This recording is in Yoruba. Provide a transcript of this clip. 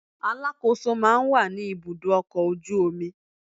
Alákòóso máa ń wà ní ibùdó ọkọ̀ ojú omi